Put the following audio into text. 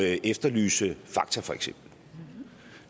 at efterlyse fakta for eksempel